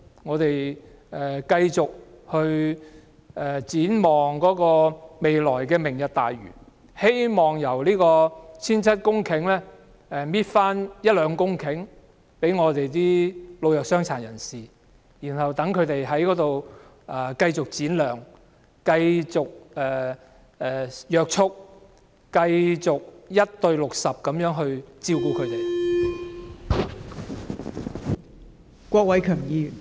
我們唯有繼續展望"明日大嶼"，希望在 1,700 公頃的人工島取回一兩公頃土地予本港的老弱傷殘，讓他們在那裏繼續展亮，繼續被約束，繼續以 1：60 的人手照顧他們。